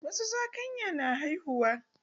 Wasu zakanya na haihuwa.